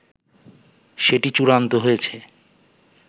সেটি চূড়ান্ত হয়েছে